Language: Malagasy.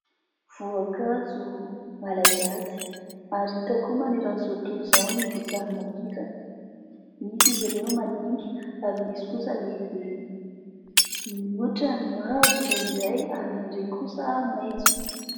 Voankazo malagasy, ary hita koa manerana izao tontolo izao ny voasary makirana, misy izy ireo madinika, ary misy kosa lehibe, ny ohatra ny mavo indraindray, ary indraindray kosa maitso.